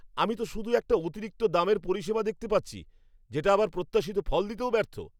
আমি তো শুধু একটা অতিরিক্ত দামের পরিষেবা দেখতে পাচ্ছি, যেটা আবার প্রত্যাশিত ফল দিতেও ব্যর্থ।